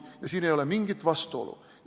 Ja siin ei ole mingit vastuolu.